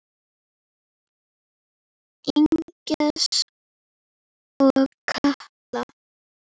Agnes og Katla.